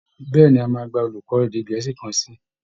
Bẹ́ẹ̀ ni, a máa gba olùkọ́ èdè gẹ̀ẹ́sì kan sí i